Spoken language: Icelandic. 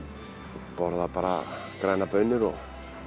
borða bara grænar baunir og